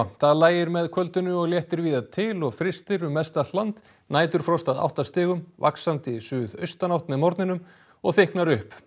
það lægir með kvöldinu og léttir víða til og frystir um mest allt land næturfrost að átta stigum vaxandi suðaustanátt með morgninum og þykknar upp